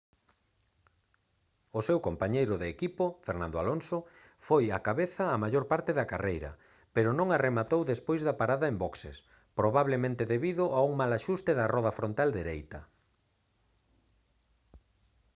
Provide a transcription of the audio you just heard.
o seu compañeiro de equipo fernando alonso foi á cabeza a maior parte da carreira pero non a rematou despois da parada en boxes probablemente debido a un mal axuste da roda frontal dereita